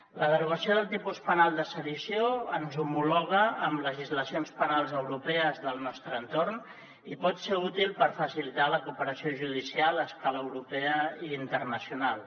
la derogació del tipus penal de sedició ens homologa amb legislacions penals europees del nostre entorn i pot ser útil per facilitar la cooperació judicial a escala europea i internacional